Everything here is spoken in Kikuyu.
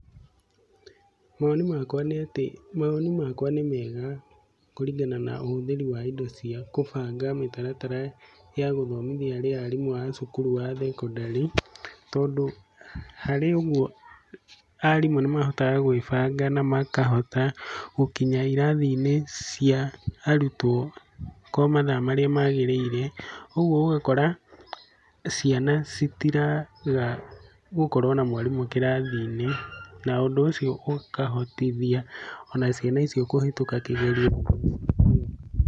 Mawoni makwa nĩ atĩ mawoni makwa nĩ mega, kũringana na ũhuthiri wa indo cia kũbanga mĩtaratara ya gũthomithia arimũ a thukuru wa thekondarĩ. Tondũ harĩ ũguo arimũ nĩ mahotaga gwĩbanga na makahota gũkinya irathi-inĩ cia arutwo kwa mathaa marĩa magĩrĩire. Ũguo ũgakora ciana citiraga gũkorwo na mwarimũ kĩrathi-inĩ. Na ũndũ ũcio ũkahotithia ona ciana icio kũhĩtũka kigerio.